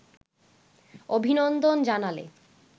অভিনন্দন জানালে